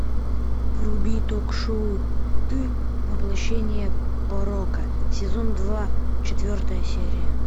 вруби ток шоу ты воплощение порока сезон два четвертая серия